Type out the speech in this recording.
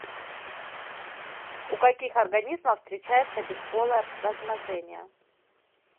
у каких организмов встречается бесполое размножение